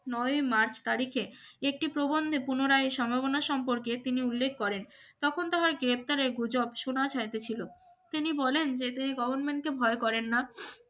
নয়ও March তারিখে একটি প্রবন্ধে পুনরায় সম্ভাবনা সম্পর্কে তিনি উল্লেখ করেন তখন তাহার গ্রেফতারের গুজব শোনা যাইতেছিল তিনি বলেন যে তিনি গভর্নমেন্ট কে ভয় করেন না